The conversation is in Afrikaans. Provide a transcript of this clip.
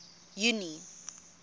junie